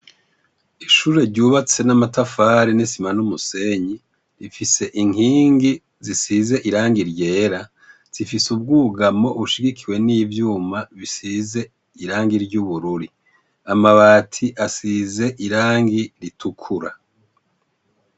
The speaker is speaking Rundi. Ishure ryubatse n'amatafari n' isima n' umusenyi , rifise inkingi zisize irangi ryera ,zifise ubwugamo bushigikiwe n' ivyuma bisizwe irangi ry' ubururi .Amabati azoze irangi ritukura .